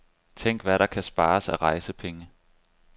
Tænk hvad der kan spares af rejsepenge.